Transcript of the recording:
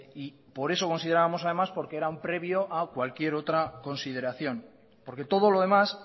y por eso considerábamos además por que era un previo a cualquier otra consideración porque todo lo demás